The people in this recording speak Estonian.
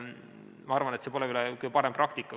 Ma arvan, et see pole kõige parem praktika.